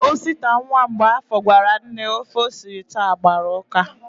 Osita, nwa Mgbọafọ, gwara nne ofe o siri taa agbara ụ́ká.